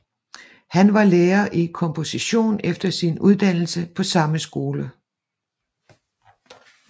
Han var lærer i komposition efter sin uddannelse på samme skole